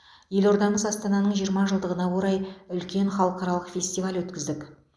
елордамыз астананың жиырма жылдығына орай үлкен халықаралық фестиваль өткіздік